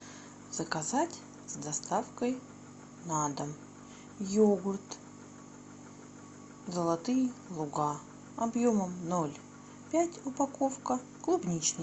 заказать с доставкой на дом йогурт золотые луга объемом ноль пять упаковка клубничный